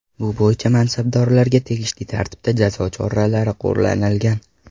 Bu bo‘yicha mansabdorlarga tegishli tartibda jazo choralari qo‘llanilgan.